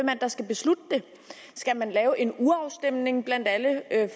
der skal beslutte det skal man lave en urafstemning blandt alle